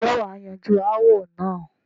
ǹjẹ́ wà á yanjú ááwọ̀ náà?